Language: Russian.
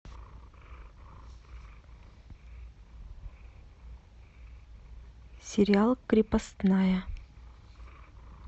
сериал крепостная